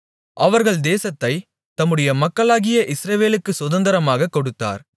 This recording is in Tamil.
அவர்கள் தேசத்தைத் தம்முடைய மக்களுமாகிய இஸ்ரவேலுக்குச் சுதந்தரமாகக் கொடுத்தார்